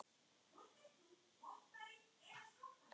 Það er demba segi ég.